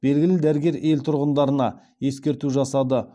белгілі дәрігер ел тұрғындарына ескерту жасады